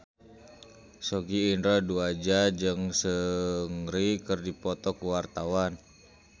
Sogi Indra Duaja jeung Seungri keur dipoto ku wartawan